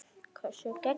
Hversu geggjað?